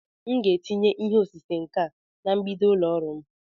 M ga-etinye ihe osise nka na mgbidi ụlọ ọrụ m.